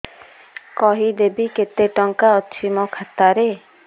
କହିବେକି କେତେ ଟଙ୍କା ଅଛି ମୋ ଖାତା ରେ